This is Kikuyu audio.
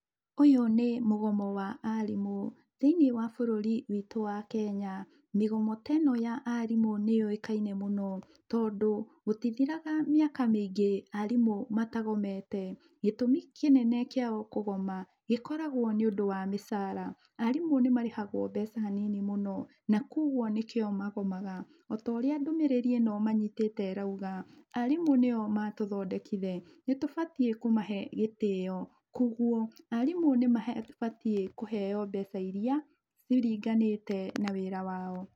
Ũyũ nĩ mũgomo wa arimũ. Thĩinĩ wa bũrũri witũ wa Kenya, mĩgomo ta ĩno ya arimũ nĩyũikaine mũno tondũ, gũtĩthiraga mĩaka mĩingi arimũ matagomete. Gĩtũmi kĩnene kĩao kũgoma gĩkoragwa nĩũndũ wa mĩcara . Arimũ nĩmarehagwo mbeca nini mũno na kwoguo nĩkĩo magomaga, o taũrĩa ndũmĩrĩri ĩno manyitĩte irauga, arimũ nĩo matuthondekire nĩtũbatie kũmahe gĩtĩo, kwoguo, arimũ nĩmabatie kũheo mbeca iria ciringanĩte na wĩra wao.